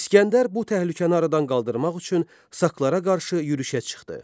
İsgəndər bu təhlükəni aradan qaldırmaq üçün saqlara qarşı yürüşə çıxdı.